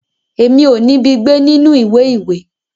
Èmi o nibi gbé nínú ìwé ìwé.